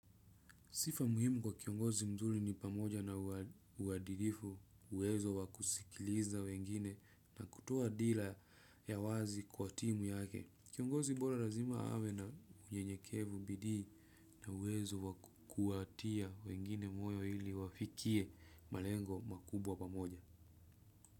Sifa muhimu kwa kiongozi mzuri ni pamoja na uhadilifu uwezo wa kusikiliza wengine na kutoa dila ya wazi kuhatimu yake. Kiongozi bora lazima awe na ujenyekevu bidii na uwezo wa kuwatia wengine moyo ili wafikie malengo makubwa pamoja.